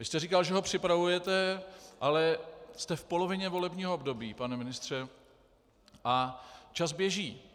Vy jste říkal, že ho připravujete, ale jste v polovině volebního období, pane ministře, a čas běží.